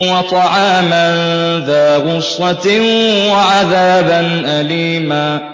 وَطَعَامًا ذَا غُصَّةٍ وَعَذَابًا أَلِيمًا